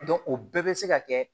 o bɛɛ bɛ se ka kɛ